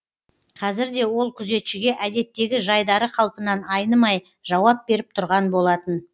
қазір де ол күзетшіге әдеттегі жайдары қалпынан айнымай жауап беріп тұрған болатын